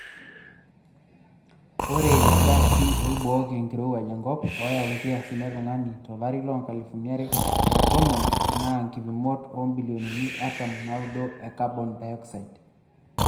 Ore ilgaasi oibooki enkirowuaj enkop oyau nkiasin e tungani tolari loonkalusini are o tomon naa nkipimot oombilionini artam onaaudo e kabon dayoksaid.